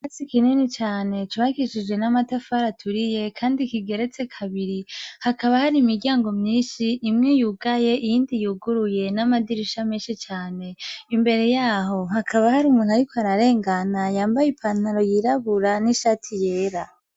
Basi ikinini cane cbakishije n'amatafara aturiye, kandi kigeretse kabiri hakaba hari imiryango myinshi imwe yugaye iyindi yuguruye n'amadiraisha menshi cane imbere yaho hakaba hari umuntu, ariko ararengana yambaye i pantaro yirabura n'ishati yera.